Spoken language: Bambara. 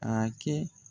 A kɛ